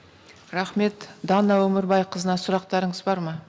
рахмет дана өмірбайқызына сұрақтарыңыз бар ма